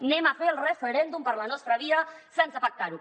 fem el referèndum per la nostra via sense pactar ho